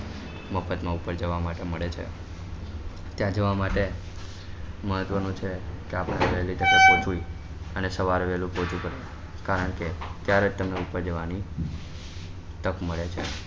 મફત માં ઉપર જવા માટે મળે છે ત્યાં જવા માટે મહત્વ નું છે અને સવારે વેલુ પહોચી જવાય કારણ કે ત્યારે જ તમને ઉપર જવા ની તક મળે છે